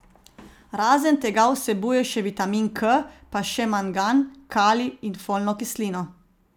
Razen tega vsebuje še vitamin K pa še mangan, kalij in folno kislino.